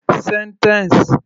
Sentence